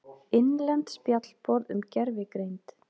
Innlent spjallborð um gervigreind.